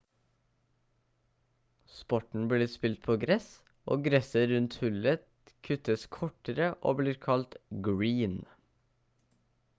sporten blir spilt på gress og gresset rundt hullet kuttes kortere og blir kalt green